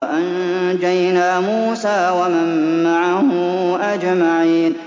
وَأَنجَيْنَا مُوسَىٰ وَمَن مَّعَهُ أَجْمَعِينَ